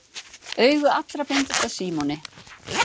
Augu allra beindust að Símoni.